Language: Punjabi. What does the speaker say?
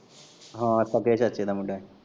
ਹਾਂ ਸਕੇ ਚਾਚੇ ਦਾ ਮੁੰਡਾ ਹੀ।